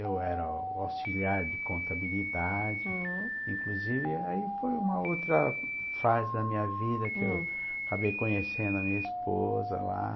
Eu era auxiliar de contabilidade, hm, inclusive, aí foi uma outra fase da minha vida que eu hm acabei conhecendo a minha esposa lá.